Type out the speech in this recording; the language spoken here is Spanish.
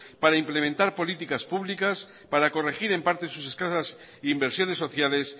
para implementar políticas públicas para corregir en parte sus escasas inversiones sociales